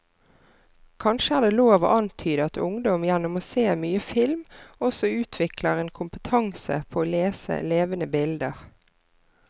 Kanskje er det lov å antyde at ungdom gjennom å se mye film også utvikler en kompetanse på å lese levende bilder.